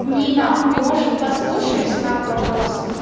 нина может послушаешь знак вопроса